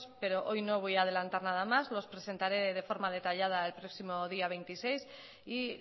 pero hoy no voy a adelantar nada más los presentaré de forma detallada el próximo día veintiséis y